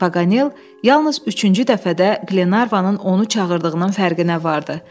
Paqanel yalnız üçüncü dəfədə Qlenarvanın onu çağırdığının fərqinə vardı.